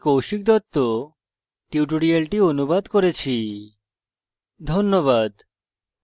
আমি কৌশিক দত্ত tutorial অনুবাদ করেছি ধন্যবাদ